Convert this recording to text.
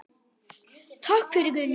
Takk fyrir, Guðni.